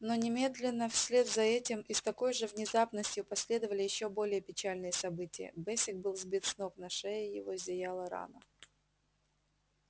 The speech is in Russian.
но немедленно вслед за этим и с такой же внезапностью последовали ещё более печальные события бэсик был сбит с ног на шее его зияла рана